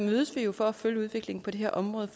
mødes vi jo for at følge udviklingen på det her område